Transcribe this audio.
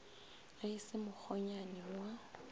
ge e se mokgonyana wa